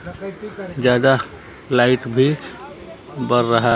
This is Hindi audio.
ज्यादा लाइट भी बर रहा--